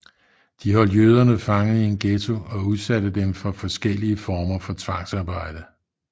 De holdt jøderne fanget i en ghetto og udsatte dem for forskellige former for tvangsarbejde